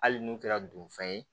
Hali n'u kɛra don fɛn ye